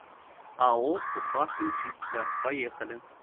ао уфахимчистка поехали